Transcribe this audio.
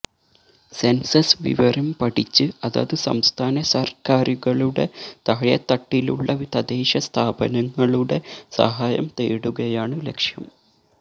census വിവരം പഠിച്ച് അതത് സംസ്ഥാന സര്ക്കാരുകളുടെ താഴെത്തട്ടിലുള്ള തദ്ദേശസ്ഥാപനങ്ങളുടെ സഹായം തേടുകയാണ് ലക്ഷ്യം